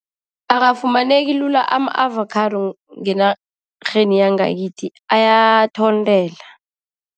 Akafumaneki lula ama-avakhado ngenarheni yangakithi ayathontela.